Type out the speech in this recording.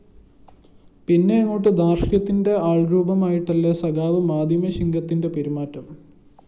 പിന്നെയങ്ങോട്ട് ധാര്‍ഷ്ട്യത്തിന്റെ ആള്‍രൂപമായിട്ടല്ലേ സഖാവ് മീഡിയ ശിങ്കത്തിന്റെ പെരുമാറ്റം